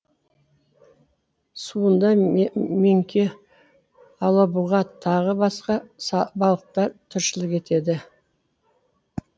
суында меңке алабұға тағы да басқа балықтар тіршілік етеді